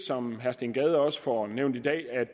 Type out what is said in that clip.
som herre steen gade også får nævnt i dag